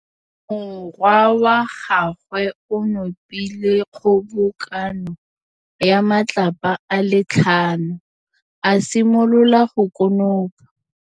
Morwa wa gagwe o nopile kgobokanô ya matlapa a le tlhano, a simolola go konopa.